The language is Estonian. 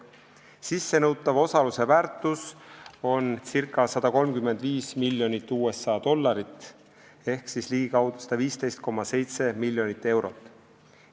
Sissenõutava osaluse väärtus on ca 135 miljonit USA dollarit ehk ligikaudu 115,7 miljonit eurot.